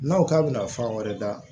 N'a ko k'a bɛna fan wɛrɛ da